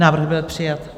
Návrh byl přijat.